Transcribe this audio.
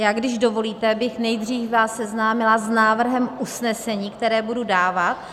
Já, když dovolíte, bych nejdřív vás seznámila s návrhem usnesení, které budu dávat -